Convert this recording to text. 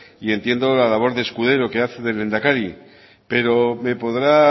y entiendo la labor de escudero que hace de lehendakari pero me podrá